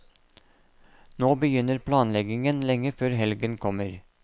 Nå begynner planleggingen lenge før helgen kommer.